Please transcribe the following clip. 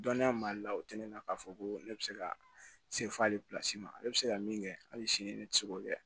Dɔnniya mali la o tɛ ne la k'a fɔ ko ne bɛ se ka se fɔ ale ma ne bɛ se ka min kɛ hali sini ne tɛ se k'o kɛ